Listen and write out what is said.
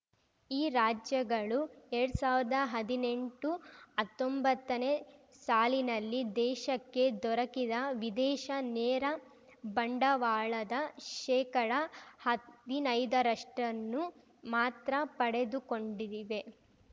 ಈ ರಾಜ್ಯಗಳು ಎರಡ್ ಸಾವಿರ್ದಾ ಹದಿನೆಂಟುಹತ್ತೊಂಬತ್ತನೇ ಸಾಲಿನಲ್ಲಿ ದೇಶಕ್ಕೆ ದೊರಕಿದ ವಿದೇಶ ನೇರ ಬಂಡವಾಳದ ಶೇಕಡ ಹದಿನೈದರಷ್ಟನ್ನು ಮಾತ್ರ ಪಡೆದುಕೊಂಡಿವೆ